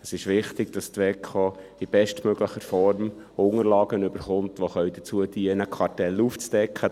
Es ist wichtig, dass die WEKO in bestmöglicher Form Unterlagen erhält, welche dazu dienen können, Kartelle aufzudecken.